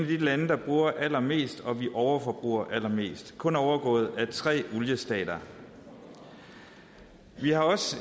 de lande der bruger allermest og vi overforbruger allermest kun overgået af tre oliestater vi har også